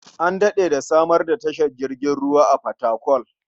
An daɗe da samar da tashar jirgin ruwa a Fatakwal.